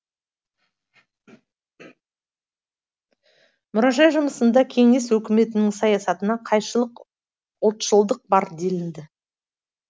мұражай жұмысында кеңес өкіметінің саясатына қайшылық ұлтшылдық бар делінді